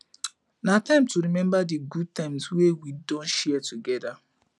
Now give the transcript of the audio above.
na time to remember di good times wey we don share together